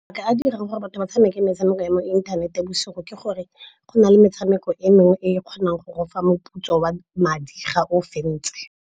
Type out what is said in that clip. Mabaka a dirang gore batho ba tshameke metshameko ya mo inthanete bosigo ke gore go na le metshameko e mengwe e e kgonang go go fa moputso wa madi ga o fentse.